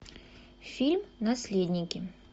фильм наследники